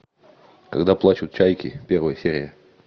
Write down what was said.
когда плачут чайки первая серия